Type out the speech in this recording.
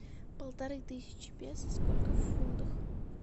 полторы тысячи песо сколько в фунтах